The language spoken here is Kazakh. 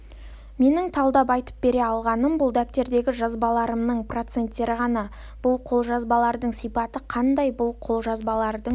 менің талдап айтып бере алғаным бұл дәптердегі жазбаларымның проценттері ғана бұл қолжазбалардың сипаты қандай бұл қолжазбалардың